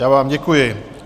Já vám děkuji.